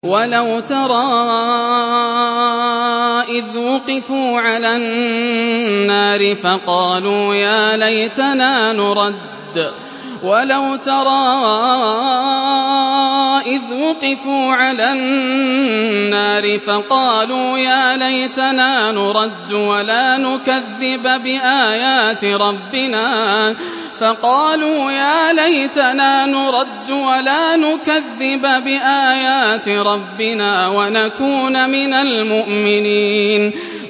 وَلَوْ تَرَىٰ إِذْ وُقِفُوا عَلَى النَّارِ فَقَالُوا يَا لَيْتَنَا نُرَدُّ وَلَا نُكَذِّبَ بِآيَاتِ رَبِّنَا وَنَكُونَ مِنَ الْمُؤْمِنِينَ